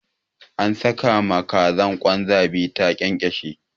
An saka ma kazar kwan zabi ta ƙyanƙyashe.